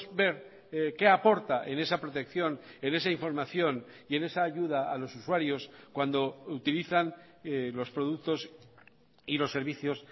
ver qué aporta en esa protección en esa información y en esa ayuda a los usuarios cuando utilizan los productos y los servicios